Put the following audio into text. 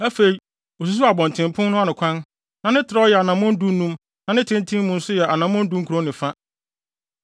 Afei osusuw abɔntenpon no ano kwan, na ne trɛw yɛ anammɔn dunum na ne tenten mu nso yɛ anammɔn dunkron ne fa.